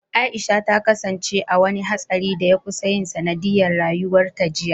Aisha ta kasance a wani hatsarin da ya kusan yin sanadiyyar rayuwarta jiya.